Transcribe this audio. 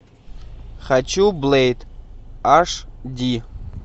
хочу блейд аш ди